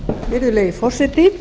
virðulegi forseti